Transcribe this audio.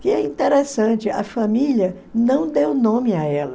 Que é interessante, a família não deu nome a ela.